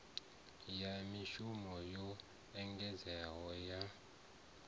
ya mishumo yo engedzeaho ya